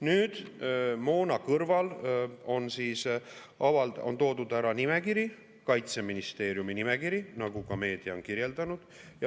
Nüüd, moona kõrval on toodud ära nimekiri, Kaitseministeeriumi nimekiri, nagu ka meedia on kirjeldanud.